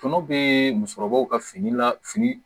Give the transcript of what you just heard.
Tɔnɔ be musokɔrɔbaw ka fini la fini